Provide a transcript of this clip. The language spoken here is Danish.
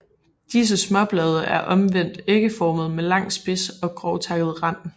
Disse småblade er omvendt ægformede med lang spids og grovtakket rand